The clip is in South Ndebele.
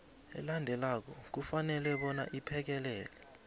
elandelako kufanele iphekelele